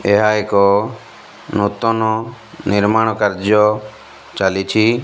ଏହା ଏକ ନୂତନ ନିର୍ମାଣ କାର୍ଯ୍ୟ ଚାଲିଛି।